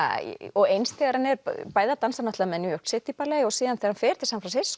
og eins þegar hann er bæði að dansa með New York City Ballet og síðan þegar hann fer til San